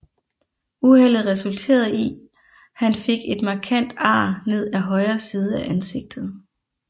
Uheldet resulterede i han fik et markant ar ned af højre side af ansigtet